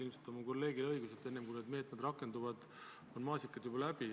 Ilmselt on minu kolleegil õigus, et enne kui need meetmed rakenduvad, on maasikad juba läbi.